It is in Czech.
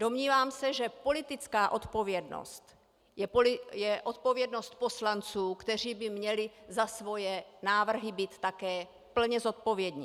Domnívám se, že politická odpovědnost je odpovědnost poslanců, kteří by měli za svoje návrhy být také plně zodpovědní.